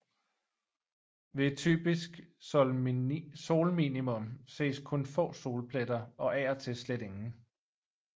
Ved et typisk solminimum ses kun få solpletter og af og til slet ingen